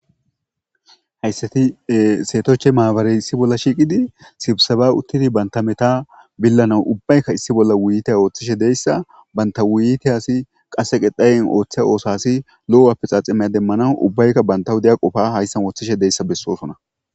Hayssatti setochche mabaray issi bolla shiiqqidi sibisebna uttidii bantta meta billanaw uibbaykka issi bolla wutiyitte ooththishe dizayssa bantta wuyiyitas qase qetaye ooththiya osasii loo apexaxeme polanas uibbaykka bantta wudiya qoppa ooththishe besosonna